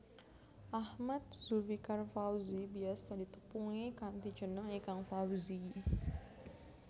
Ahmad Zulfikar Fawzi biyasa ditepungi kanthi jeneng Ikang Fawzi